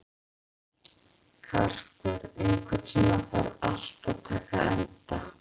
Karkur, einhvern tímann þarf allt að taka enda.